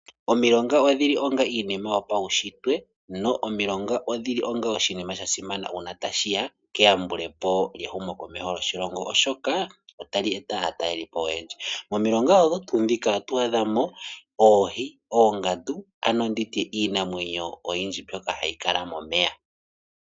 Omilonga odhili onga iinima yopaushitwe, no omilonga odhili onga oshinima shasimana uuna ta shi ya keyambulepo lyehumo komeho lyoshilongo oshoka ota li eta aatelelipo oyendji. Momilonga odho tuu ndhika oto adhamo, oohi, oongandu, ano nditye iinamwenyo mbyoka ha yi kala momeya.